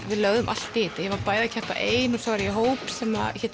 við lögðum allt í þetta ég var bæði að keppa ein og svo var ég í hóp sem hét